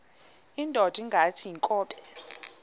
indod ingaty iinkobe